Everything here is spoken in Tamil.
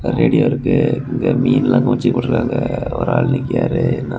ரேடியோ இருக்கு இங்கெ மீன்ல ககொளச்சி போட்ருக்காங்க ஒரு ஆள் நிக்காரு.